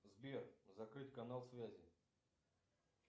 сбер закрыть канал связи